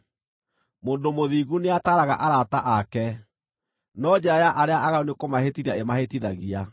Mũndũ mũthingu nĩataaraga arata ake, no njĩra ya arĩa aaganu nĩ kũmahĩtithia ĩmahĩtithagia.